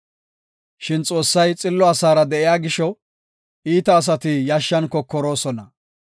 Shin Xoossay xillo asaara de7iya gisho, iita asati yashshan kokoroosona.